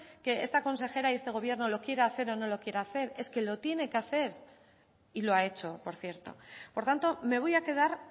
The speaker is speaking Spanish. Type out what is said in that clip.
que esta consejera y este gobierno lo quiera hacer o no lo quiera hacer es que lo tiene que hacer y lo ha hecho por cierto por tanto me voy a quedar